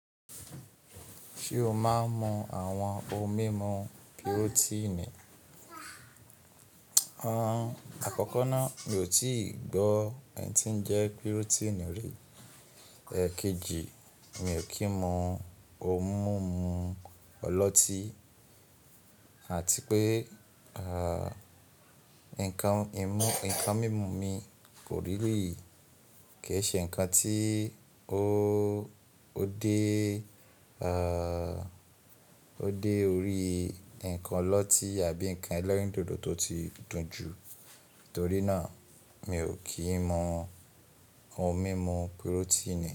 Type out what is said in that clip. Ṣé o máa ń mu àwọn ohun mímu pirotíìnì? Àkọ́kọ́ ná, mi ò tí ì gbọ́ ẹ̀ tí ń jẹ́ pirotíìnì rí. Kejì, mi ò kí ń mu ohun mímu ọlọ́tí àti pé nǹkan mímu mi kò rí rí kí ṣe nǹkan tí o ó dé orí nǹkan ọlọ́tí àbí nǹkan ẹlẹ́rìndòdò tó ti dùn jù. Torí náà, mi ò kí ń mu ohun mímu pirotíìnì.